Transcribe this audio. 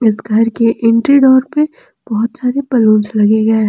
इस घर के एंट्री डोर पे बहुत सारे बैलून्स लगे गए हैं।